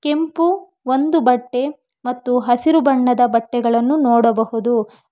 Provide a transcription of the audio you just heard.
ಕೆಂಪು ಒಂದು ಬಟ್ಟೆ ಮತ್ತು ಹಸಿರು ಬಣ್ಣದ ಬಟ್ಟೆಗಳನ್ನು ನೋಡಬಹುದು.